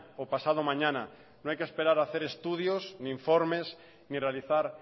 o pasado mañana no hay que esperar a hacer estudios ni informes ni realizar